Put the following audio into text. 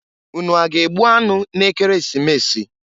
Unu a ga-egbu anụ n'Ekeresimesi?